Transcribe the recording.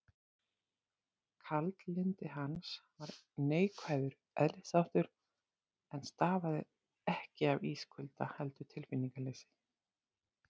Kaldlyndi hans var neikvæður eðlisþáttur, en stafaði ekki af ískulda, heldur tilfinningaleysi.